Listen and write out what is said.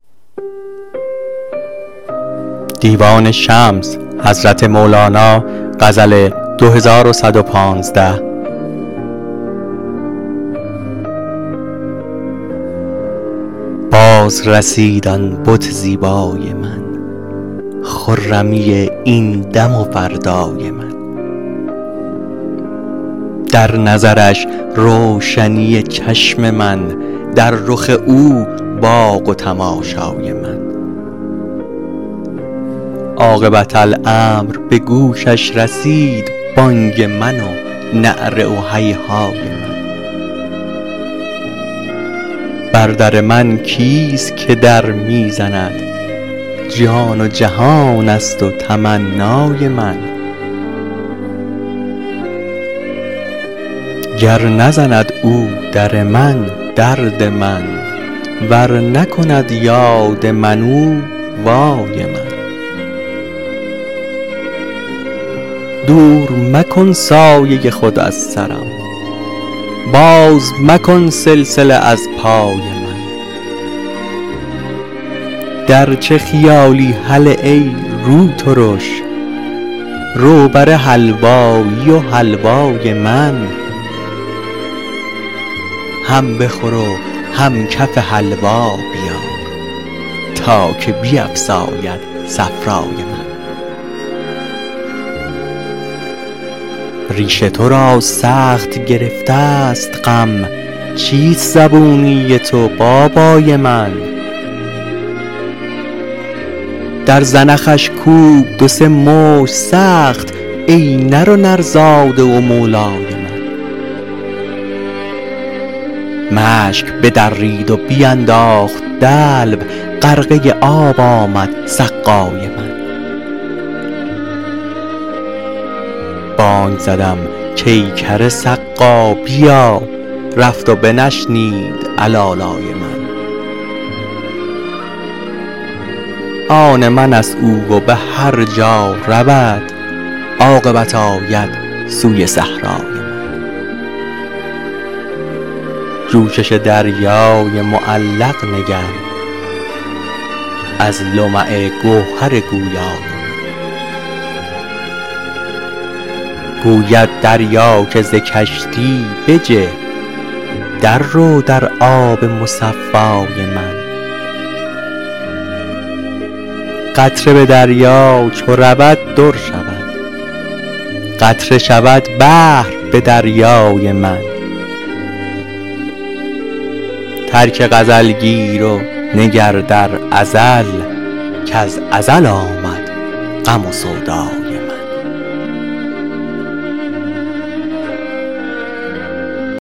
بازرسید آن بت زیبای من خرمی این دم و فردای من در نظرش روشنی چشم من در رخ او باغ و تماشای من عاقبت امر به گوشش رسید بانگ من و نعره و هیهای من بر در من کیست که در می زند جان و جهان است و تمنای من گر نزند او در من درد من ور نکند یاد من او وای من دور مکن سایه خود از سرم باز مکن سلسله از پای من در چه خیالی هله ای روترش رو بر حلوایی و حلوای من هم بخور و هم کف حلوا بیار تا که بیفزاید صفرای من ریش تو را سخت گرفته ست غم چیست زبونی تو بابای من در زنخش کوب دو سه مشت سخت ای نر و نرزاده و مولای من مشک بدرید و بینداخت دلو غرقه آب آمد سقای من بانگ زدم کای کر سقا بیا رفت و بنشنید علالای من آن من است او و به هر جا رود عاقبت آید سوی صحرای من جوشش دریای معلق مگر از لمع گوهر گویای من گوید دریا که ز کشتی بجه دررو در آب مصفای من قطره به دریا چو رود در شود قطره شود بحر به دریای من ترک غزل گیر و نگر در ازل کز ازل آمد غم و سودای من